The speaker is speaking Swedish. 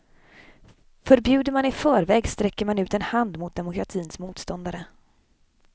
Förbjuder man i förväg, sträcker man ut en hand mot demokratins motståndare.